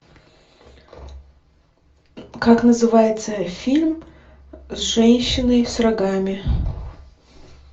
как называется фильм с женщиной с рогами